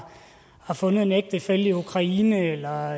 fundet en ægtefælle i ukraine eller